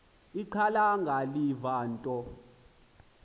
ixhalanga liva into